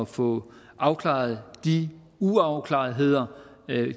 få afklaret de uafklaretheder